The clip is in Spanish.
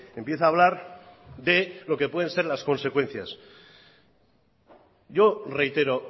empieza a hablar de lo que pueden ser las consecuencias yo reitero